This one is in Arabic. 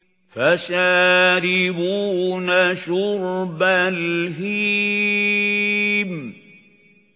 فَشَارِبُونَ شُرْبَ الْهِيمِ